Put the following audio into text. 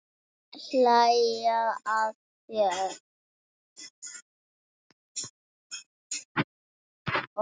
Og hlæja að þér.